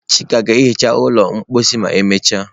Chika ga-ehicha ụlọ mposi ma emechaa.